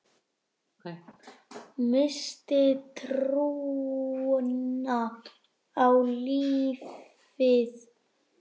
Missti trúna á lífið.